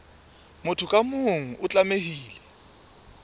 motho ka mong o tlamehile